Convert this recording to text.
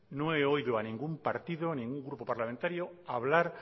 no he oído a ningún partido a ningún grupo parlamentario hablar